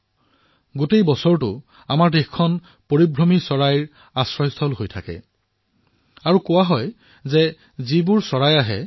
ভাৰত গোটেই বছৰটো পৰিভ্ৰমী চৰাইৰ বাসস্থান হৈ পৰে